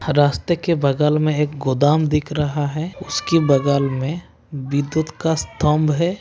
रास्ते के बगल में एक गोदाम दिख रहा है उसके बगल में विद्युत का स्तंभ है।